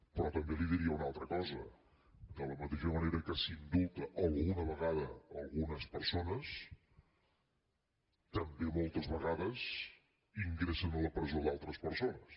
però també li diria una altra cosa de la mateixa manera que s’indulten alguna vegada algunes persones també moltes vegades ingressen a la presó altres persones